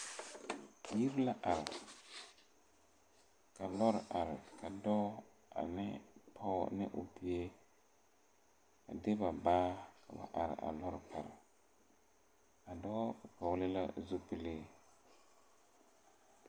Yiri la are ka lɔɔre are ka dɔɔ aneŋ o pɔɔ ne o bie de ba baa a wa are a lɔɔre pare a dɔɔ vɔgle la zupile.